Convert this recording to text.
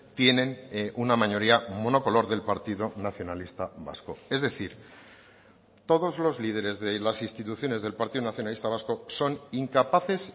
tienen una mayoría monocolor del partido nacionalista vasco es decir todos los líderes de las instituciones del partido nacionalista vasco son incapaces